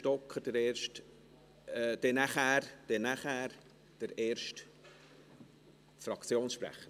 Sonst wäre danach Julien Stocker der erste Fraktionssprecher.